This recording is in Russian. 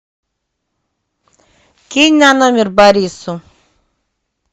кинь на номер борису